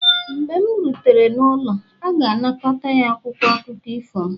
mgbe m rutere n'ụlọ, a ga-anakọta ya akwụkwọ akụkọ ifo m